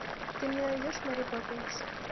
ты мне найдешь мэри поппинс